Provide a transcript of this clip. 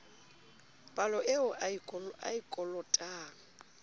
palo eo a e kolotang